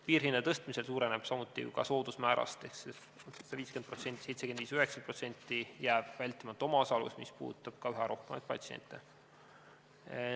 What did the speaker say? Piirhindade tõstmisel suureneb samuti soodusmäärast ehk sellest 50%, 75% või 90%, jääb vältimatu omaosalus, mis puudutab üha rohkemaid patsiente.